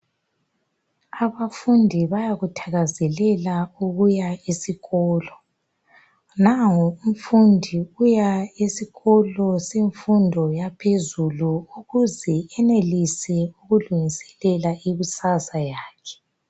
Abafundi bayakuthakazelela ukuya esikolo. Nango umfudi uya esikolo semfundo yaphezulu ukuze enelise ukulungiselela ikusasa yakhe.